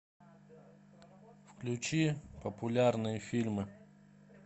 включи популярные фильмы